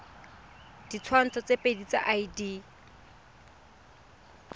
ditshwantsho tse pedi tsa id